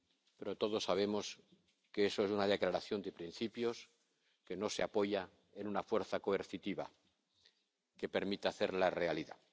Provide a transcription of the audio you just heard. Pero todos sabemos que eso es una declaración de principios que no se apoya en una fuerza coercitiva que permita hacerla realidad.